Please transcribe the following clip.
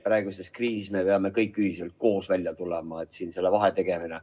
Praeguses kriisis me peame kõik ühiselt koos välja tulema, siin selle vahe tegemine ...